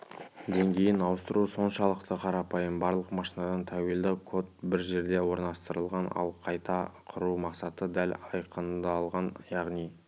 деңгейін ауыстыру соншалықты қарапайым барлық машинадан тәуелді код бір жерде орналастырылған ал қайта құру мақсаты дәл айқындалған яғни